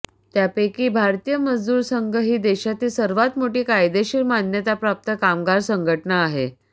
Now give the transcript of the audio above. त्यापैकी भारतीय मजदूर संघ ही देशातील सर्वात मोठी कायदेशीर मान्यताप्राप्त कामगार संघटना आहे